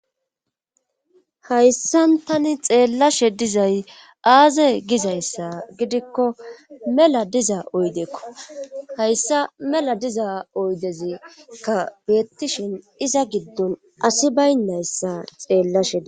Hayssan tani xeellashe dizay aaze gizayssa gidikko mela diza oydeekko hayssa mela diza oydezikka beettishin iza giddon asi baynnayssa xeellashe di?